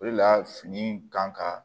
O de la fini in kan ka